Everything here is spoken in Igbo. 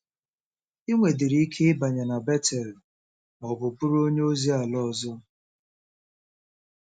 I nwedịrị ike ịbanye na Betel ma ọ bụ bụrụ onye ozi ala ọzọ.